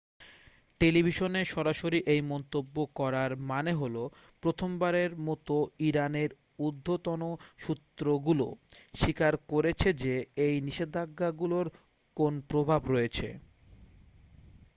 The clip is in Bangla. টেলিভিশনে সরাসরি এই মন্তব্য করার মানে হলো প্রথমবারের মতো ইরানের ঊর্ধ্বতন সূত্রগুলো স্বীকার করেছে যে এই নিষেধাজ্ঞাগুলোর কোন প্রভাব রয়েছে